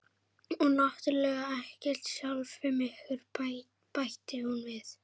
Og náttúrlega ekkert sjálfum ykkur, bætti hún við.